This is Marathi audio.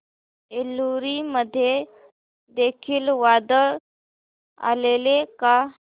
एलुरू मध्ये देखील वादळ आलेले का